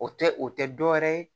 O tɛ o tɛ dɔ wɛrɛ ye